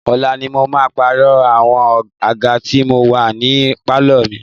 Ọ̀la ni mo máa pààrọ̀ àwọn àga tí ó wà ní pálọ̀ mi.